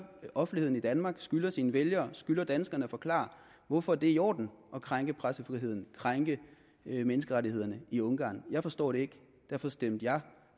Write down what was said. offentligheden i danmark skylder sine vælgere skylder danskerne at forklare hvorfor det er i orden at krænke pressefriheden krænke menneskerettighederne i ungarn jeg forstår det ikke derfor stemte jeg